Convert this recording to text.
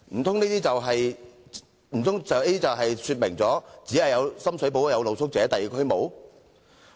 政府這樣做，難道是要表示只有深水埗區有露宿者，而其他區沒有嗎？